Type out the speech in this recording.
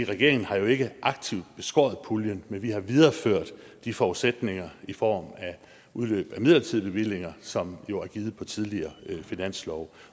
regeringen har jo ikke aktivt beskåret puljen men vi har videreført de forudsætninger i form af udløb af midlertidige bevillinger som jo er givet på tidligere finanslove